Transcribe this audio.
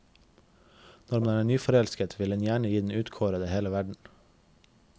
Når man er nyforelsket, vil en gjerne gi den utkårede hele verden.